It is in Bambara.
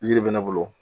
Yiri bɛ ne bolo